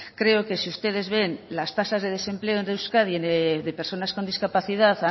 creo que si ustedes ven las tasas de desempleo de euskadi de personas con discapacidad